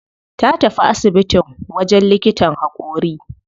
Ta tafi asibitin wajen likitan haƙori.